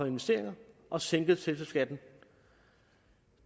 investeringer og sænket selskabsskatten